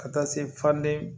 Ka taa se faden